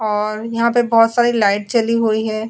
यहां पे बहुत सारी लाइट जली हुई है।